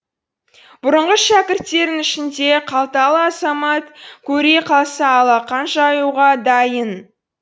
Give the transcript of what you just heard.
бұрынғы шәкірттерінің ішінде қалталы азамат көре қалса алақан жаюға дайын